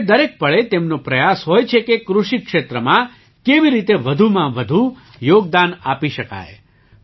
હવે દરેક પળે તેમનો પ્રયાસ હોય છે કે કૃષિ ક્ષેત્રમાં કેવી રીતે વધુમાં વધુ યોગદાન આપી શકાય